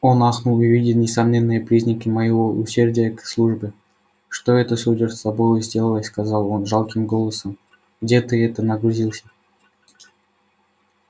он ахнул увидя несомненные признаки моего усердия к службе что это сударь с тобою сделалось сказал он жалким голосом где ты это нагрузился